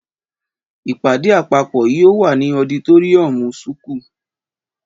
Ìpàdé àpàpó yio wà ni ọdítòríyànmú súkù.